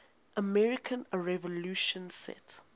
american revolution set